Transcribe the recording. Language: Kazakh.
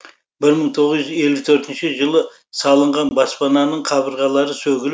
бір мың тоғыз жүз елу төртінші жылы салынған баспананың қабырғалары сөгіліп